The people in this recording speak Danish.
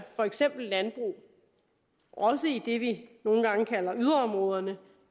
for eksempel landbrug også i det vi nogle gange kalder yderområderne